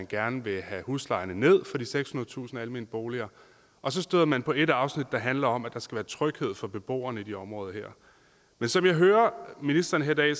gerne vil have huslejerne ned for de sekshundredetusind almene boliger og så støder man på et afsnit der handler om at der skal være tryghed for beboerne i de her områder som jeg hører ministeren her i dag